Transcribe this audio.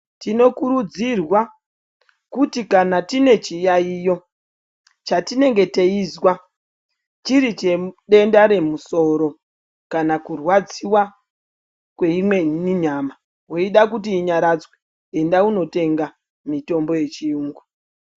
Tinokurudzirwa kuti kana tine chiyaiyo chatinenge teizwa chirichedenda remusoro. Kana kurwadziva kweimweni nyama veida kuti inyaradzwe enda unotenga mitombo yechiyungu.